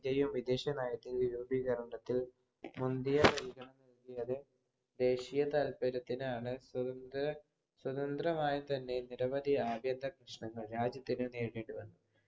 നയം വിദേശ നയത്തിന് രൂപീകരണത്തിൽ മുന്തിയ ദേശിയ താത്പര്യത്തിനാണ് സ്വതന്ത്രമായി തന്നെ നിരവധി പ്രശനങ്ങൾ രാജ്യത്തിന് നേരിടുവാൻ